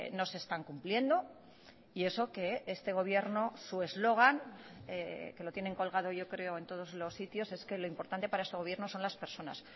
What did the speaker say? no se están cumpliendo y eso que este gobierno su eslogan que lo tienen colgado yo creo en todos los sitios es que lo importante para este gobierno son las personas